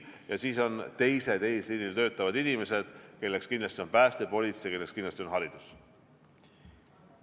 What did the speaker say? Ja siis on teised eesliinil töötavad inimesed, kelleks kindlasti on pääste, politsei, kelleks kindlasti on haridus.